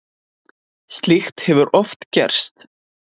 Slíkt hefur oft gerst.